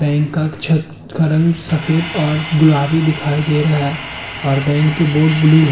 Bank काक छत का रंग सफेद और गुलाबी दिखाई दे रहा है और बैंक की बोर्ड ब्लू है।